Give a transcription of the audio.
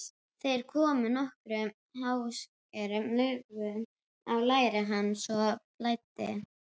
Þeir komu nokkrum háskalegum lögum á læri hans svo blæddi.